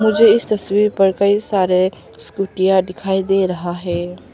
मुझे इस तस्वीर पर कई सारे स्कूटियां दिखाई दे रहा है।